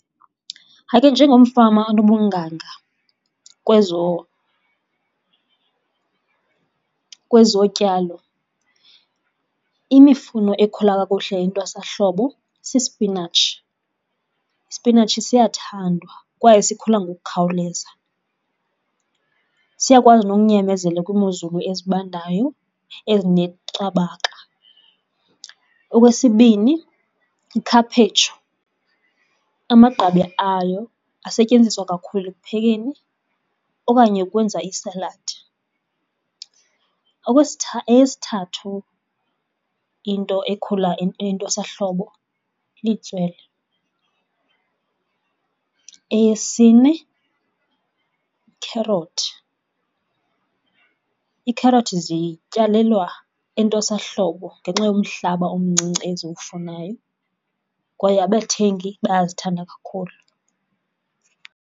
Hayi ke njengomfama onobunganga kwezotyalo, imifuno ekhula kakuhle entwasahlobo sispinatshi. Ispinatshi siyathandwa kwaye sikhula ngokukhawuleza, siyakwazi nokunyamezela kwiimozulu ezibandayo ezineqabaka. Okwesibini, ikhaphetshu. Amagqabi ayo asetyenziswa kakhulu ekuphekeni okanye ukwenza iisaladi. Eyesithathu into ekhula entwasahlobo litswele. Eyesine, ikherothi. Iikherothi zityalelwa entwasahlobo ngenxa yomhlaba omncinci eziwufunayo kwaye abathengi bayazithanda kakhulu.